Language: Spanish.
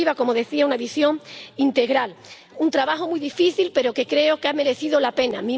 En definitiva, como decía, una visión integral, un trabajo muy difícil, pero que creo que ha merecido la pena.